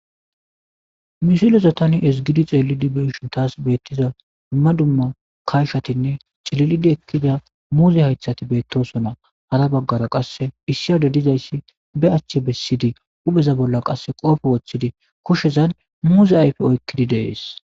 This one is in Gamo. Misiloza tani esigidi xeelidi beshun taas beettiza dumma dumma kayshatinne cililidi ekkida muuze haythati beettosona hara baggara qasse issiade dizayssi be achche bessidi upheza bolla qasse qoofe woththidi koshezan muuze ayfe oykkidi dees.